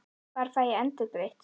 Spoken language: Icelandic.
Hvar fæ ég endurgreitt?